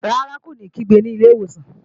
Rárá, kó ní kígbe ní ilé ìwòsàn